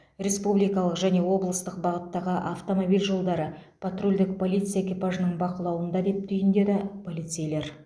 республикалық және облыстық бағыттағы автомобиль жолдары патрульдік полиция экипажының бақылауында деп түйіндеді полицейлер